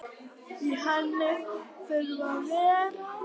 Í henni þurfa að vera